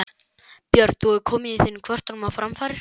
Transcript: Björn: Hefur þú komið þínum kvörtunum á framfæri?